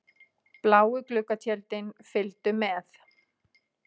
Bláu gluggatjöldin fylgdu með.